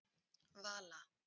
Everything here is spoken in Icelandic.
Vala